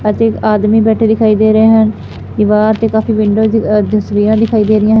ਅਤੇ ਇੱਕ ਆਦਮੀ ਬੈਠੇ ਦਿਖਾਈ ਦੇ ਰਹੇ ਹਨ ਦਿਵਾਰ ਤੇ ਕਾਫੀ ਵਿੰਡੋਜ਼ ਦੀ ਤਸਵੀਰਾਂ ਦਿਖਾਈ ਦੇ ਰਹੀਆਂ ਹਨ।